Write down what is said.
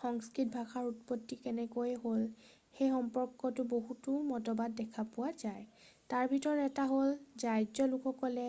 সংস্কৃত ভাষাৰ উৎপত্তি কেনেকৈ হ'ল সেই সম্পৰ্কে বহুতো মতবাদ দেখা পোৱা যায় তাৰ ভিতৰত এটা হ'ল যে আৰ্য্য লোকে